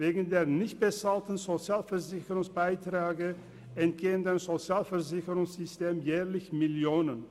Wegen der nicht bezahlten Sozialversicherungsbeiträge entgehen dem Sozialversicherungssystem jährlich Millionen.